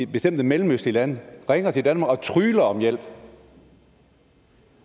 bestemte mellemøstlige lande ringer til danmark og trygler om hjælp